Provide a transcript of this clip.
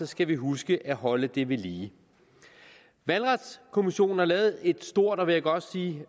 skal vi huske at holde det ved lige valgretskommissionen har lavet et stort og vil jeg godt sige